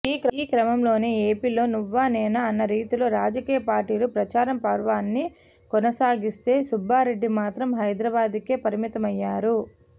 ఈ క్రమంలోనే ఏపీలో నువ్వానేనా అన్న రీతిలో రాజకీయ పార్టీలు ప్రచారం పర్వాన్ని కొనసాగిస్తే సుబ్బారెడ్డి మాత్రం హైదరాబాద్కే పరిమితమయ్యారు